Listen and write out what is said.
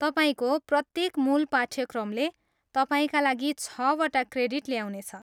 तपाईँको प्रत्येक मूल पाठ्यक्रमले तपाईँका लागि छवटा क्रेडिट ल्याउनेछ।